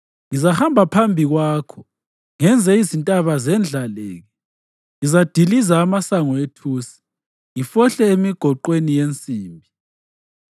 Ngizahamba phambi kwakho ngenze izintaba zendlaleke. Ngizadiliza amasango ethusi, ngifohle emigoqweni yensimbi.